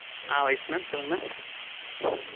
ஆஹ் wise mam சொல்லுங்க mam.